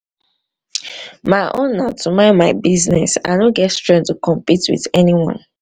my own na to mind my business. i no get strength to compete with anyone.